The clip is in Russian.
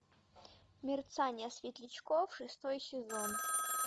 мерцание светлячков шестой сезон